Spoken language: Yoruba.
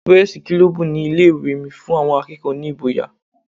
Pírẹ́sí kilọbù ní ilé ìwé mi fún àwọn akẹ́kọ̀ọ́ ní ìgboyà.